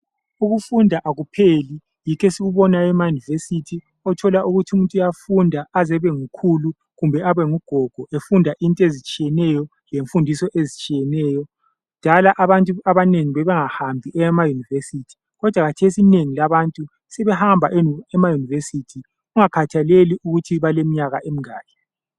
Ukufunda akupheli, yikho esikubonayo emaYunivesi, othola ukuthi umuntu uyafunda aze abengukhulu kumbe abengugogo efunda into ezitshiyeneyo lemfundiso ezitshiyeneyo. Kudala abantu abanengi babengahambi emaYunivesi, kodwa kathesi inengi labantu sebehamba emaYunivesi kungakhathaleli ukuthi baleminyaka emingaki.